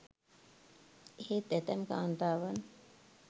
එහෙත් ඇතැම් කාන්තාවන්